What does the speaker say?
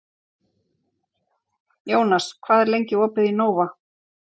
Jónas, hvað er lengi opið í Nova?